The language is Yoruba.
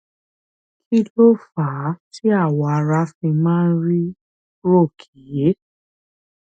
kí ló fà á tí awọ ara fi máa ń rí róòké